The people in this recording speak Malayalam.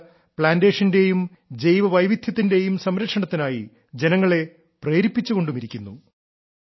മാത്രമല്ല പ്ലാന്റേഷന്റെയും ജൈവവൈവിദ്ധ്യത്തിന്റെയും സംരക്ഷണത്തിനായി ജനങ്ങളെ പ്രേരിപ്പിച്ചുകൊണ്ടുമിരിക്കുന്നു